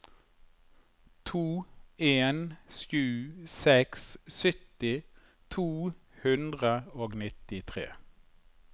to en sju seks sytti to hundre og nittitre